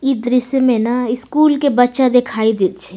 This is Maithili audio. इ दृश्य में ना स्कूल के बच्चा दिखाई दे छै।